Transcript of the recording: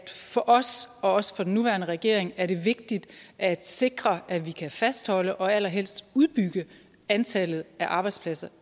for os og også for den nuværende regering er det vigtigt at sikre at vi kan fastholde og allerhelst udbygge antallet af arbejdspladser